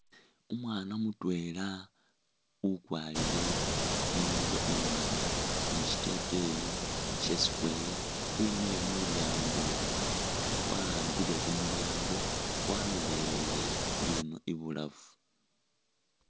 Umwaana mutwela ukwarile ingubo imwanga ni shiteteyi sha'square wemile mulyango wa'ambile khumulyango walolelele ino ibulafu